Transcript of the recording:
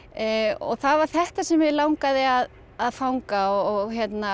og það var þetta sem mig langaði að að fanga og